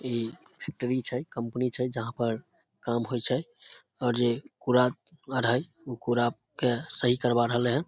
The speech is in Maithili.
इ फैक्ट्री छै कंपनी छै जहाँ पर काम होय छै और जे कूड़ा आर हेय कूड़ा के सही करवा रहले हन |